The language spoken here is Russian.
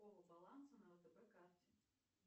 баланса на втб карте